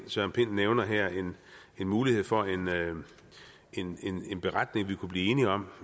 nævner her en mulighed for en beretning vi kunne blive enige om